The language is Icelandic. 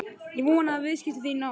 Ég vona að viðskipti þín á